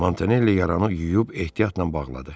Montanelli yaranı yuyub ehtiyatla bağladı.